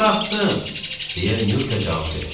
Çıxartdım, deyə Nyurka cavab verir.